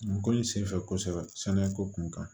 N ko n senfɛ kosɛbɛ sɛnɛ ko kun kan